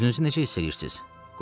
Özünüzü necə hiss eləyirsiz?